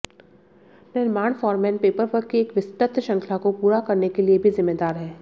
निर्माण foreman paperwork की एक विस्तृत श्रृंखला को पूरा करने के लिए भी जिम्मेदार है